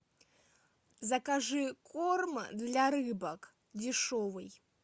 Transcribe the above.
закажи корм для рыбок дешевый